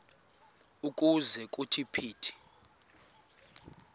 ukuze kuthi phithi